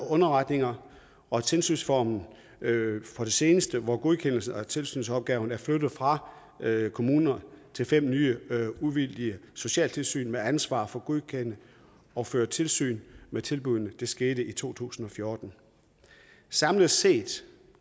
underretninger og tilsynsformen som det seneste hvor godkendelsen af tilsynsopgaverne er flyttet fra kommuner til fem nye uvildige socialtilsyn med ansvar for at godkende og føre tilsyn med tilbuddene det skete i to tusind og fjorten samlet set